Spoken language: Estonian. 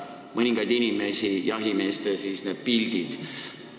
Mõningaid inimesi häirivad need jahimeeste tehtud pildid.